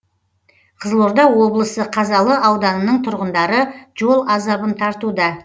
қызылорда облысы қазалы ауданының тұрғындары жол азабын тартуда